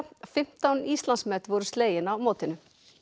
fimmtán Íslandsmet voru slegin á mótinu